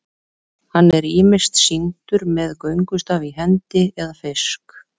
hann er ýmist sýndur með göngustaf í hendi eða fisk